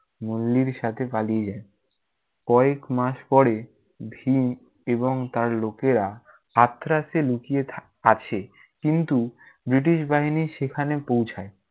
নল্লির সাথে পালিয়ে যায়। কয়েকমাস পরে ভীম এবং তার লোকেরা আথ্রাসে লুকিয়ে থাক~ আছে কিন্তু ব্রিটিশ বাহিনী সেখানে পৌছায়।